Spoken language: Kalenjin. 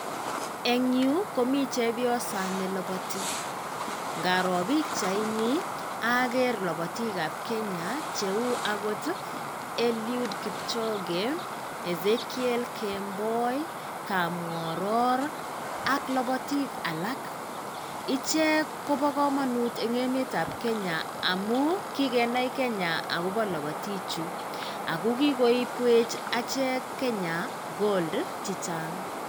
Eng yu komii chepyosa nelabati ngaroo pikchaini ager labatikab kenya cheu ako Eliud Kipchoge, Ezekiel Kemboi, Kapng'oror ak labatik alak. Ichek kobo kamanut eng emetab kenya amuu kigenai kenya akobo labatiichu ako kikoibwech achek kenya gold chichang'.